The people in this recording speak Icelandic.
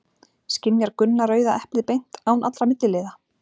Skynjar Gunna rauða eplið beint, án allra milliliða?